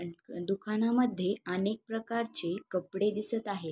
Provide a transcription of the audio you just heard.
दुकानामद्धे अनेक प्रकारची कपडे दिसत आहेत.